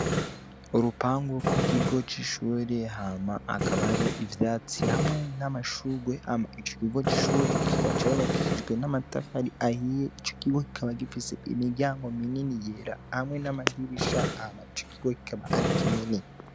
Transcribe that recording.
Urupangu rw'ikigo c'ishure, hama hakaba hariho ivyatsi hamwe n'amashurwe, hama ico kigo c'ishure kikaba cubakishijwe n'amatafari ahiye. Ico kigo kikaba gifise imiryango minini yera hamwe n'amadirisha, hama ico kigo kikaba ari kinini.